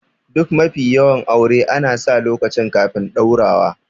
Duk mafi yawan aure ana sa lokaci kafin ɗaurawa